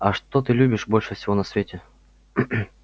а что ты любишь больше всего на свете